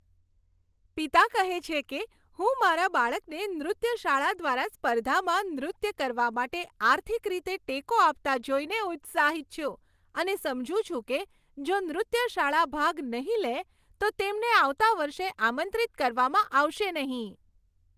પિતા કહે છે કે, હું મારા બાળકને નૃત્ય શાળા દ્વારા સ્પર્ધામાં નૃત્ય કરવા માટે આર્થિક રીતે ટેકો આપતાં જોઈને ઉત્સાહિત છું અને સમજું છું કે જો નૃત્ય શાળા ભાગ નહીં લે, તો તેમને આવતા વર્ષે આમંત્રિત કરવામાં આવશે નહીં.